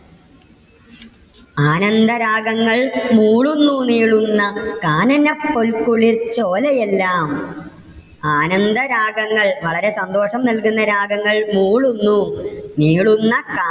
ആനന്ദരാഗങ്ങൾ മൂളുന്നു നീളുന്ന കാനനപ്പോൽക്കുളിർചോലയെല്ലാം. ആനന്ദ രാഗങ്ങൾ വളരെ സന്തോഷം നൽകുന്ന രാഗങ്ങൾ മൂളുന്നു നീളുന്ന കാ